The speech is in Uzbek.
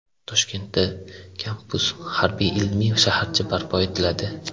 Toshkentda kampus harbiy-ilmiy shaharcha barpo etiladi.